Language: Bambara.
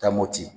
Taa mopti